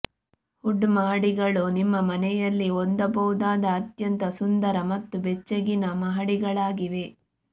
wood ಮಹಡಿಗಳು ನಿಮ್ಮ ಮನೆಯಲ್ಲಿ ಹೊಂದಬಹುದಾದ ಅತ್ಯಂತ ಸುಂದರ ಮತ್ತು ಬೆಚ್ಚಗಿನ ಮಹಡಿಗಳಾಗಿವೆ